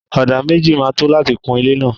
Ọdà méjì ma tó láti kun ilé náà.